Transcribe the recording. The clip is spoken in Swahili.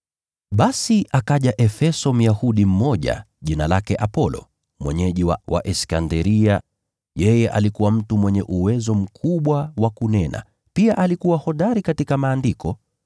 Basi akaja Efeso Myahudi mmoja, jina lake Apolo, mwenyeji wa Iskanderia. Yeye alikuwa na elimu kubwa, pia alikuwa hodari katika Maandiko.